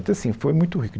Então, assim, foi muito rico